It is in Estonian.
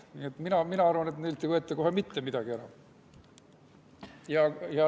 Nii et mina arvan, et neilt ei võeta kohe mitte midagi ära.